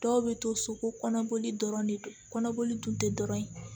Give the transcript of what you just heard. Dɔw bɛ to so ko kɔnɔboli dɔrɔn de don kɔnɔboli dun tɛ dɔrɔn ye